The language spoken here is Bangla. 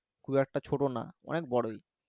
খুব একটা ছোট ন অনেক বড়ই